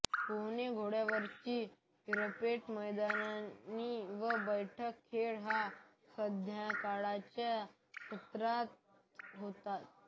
पोहणे घोड्यावरची रपेटमैदानी व बैठे खेळ हे संध्याकाळच्या सत्रात होतात